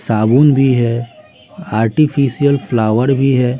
साबुन भी है आर्टिफिशियल फ्लावर भी है।